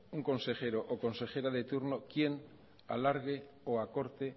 un consejero o consejera de turno quien alargue o acorte